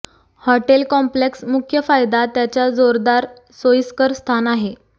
hotel complex मुख्य फायदा त्याच्या जोरदार सोयीस्कर स्थान आहे